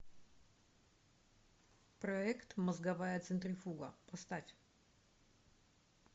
проект мозговая центрифуга поставь